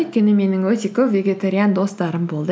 өйткені менің өте көп вегетариан достарым болды